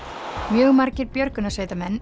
mjög margir björgunarsveitarmenn